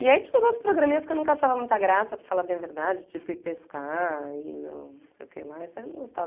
E aí tinha uns outros programinhas que eu nunca achava muita graça, para falar bem a verdade, tipo, ir pescar e não não sei o que lá, isso aí eu não